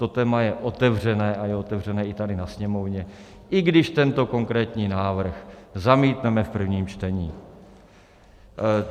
To téma je otevřené a je otevřené i tady na Sněmovně, i když tento konkrétní návrh zamítneme v prvním čtení.